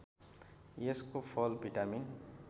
यसको फल भिटामिन